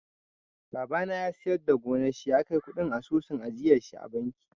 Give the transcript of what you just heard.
Babana ya siyar da gonar shi ya kai kuɗin asusun ajiyarshi a banki.